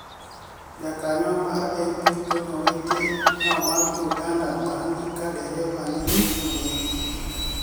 Jakaniyo mar MP Toniy Owiti ni e omak Uganida banig' ka dereba ni e oni egi